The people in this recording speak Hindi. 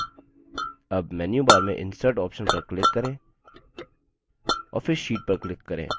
अब मेन्यूबार में insert option पर click करें और फिर sheet पर click करें